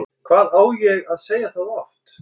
Hvað á ég að segja það oft?!